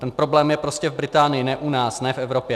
Ten problém je prostě v Británii, ne u nás, ne v Evropě.